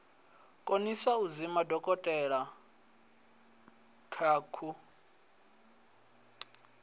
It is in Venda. konisa u zwima dokotelakha ku